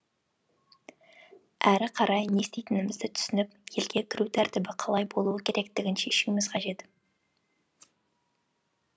әрі қарай не істейтінімізді түсініп елге кіру тәртібі қалай болуы керектігін шешуіміз қажет